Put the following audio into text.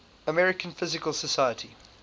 american physical society